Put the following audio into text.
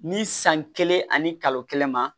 Ni san kelen ani kalo kelen ma